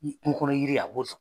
Ni kunko kɔnɔ yiri ye, a b'o